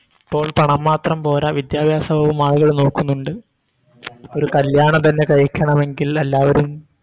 ഇപ്പോൾ പണം മാത്രം പോരാ വിദ്യഭ്യാസവും ആളുകൾ നോക്കുന്നുണ്ട് ഇപ്പോര് കല്യാണം തന്നെ കഴിക്കണമെങ്കിൽ എല്ലാവരും